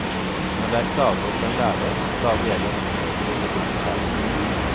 Når det er klager på en lærer klarer vi ellers som regel å rydde opp her på skolen.